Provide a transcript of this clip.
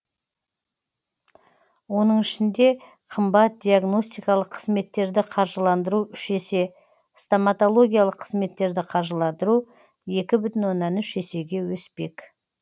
оның ішінде қымбат диагностикалық қызметтерді қаржыландыру үш есе стоматологиялық қызметтерді қаржыландыру екі бүтін оннан үш есеге өспек